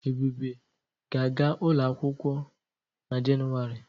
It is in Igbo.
Ebube ga-aga ụlọ akwụkwọ n'Jenụwarị.